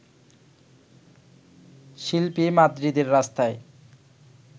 শিল্পী মাদ্রিদের রাস্তায়